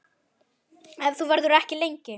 Ef þú verður ekki lengi.